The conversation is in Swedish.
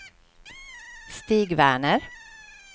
Stig Werner